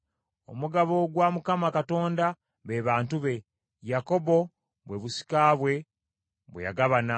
Omugabo gwa Mukama Katonda be bantu be, Yakobo bwe busika bwe bwe yagabana.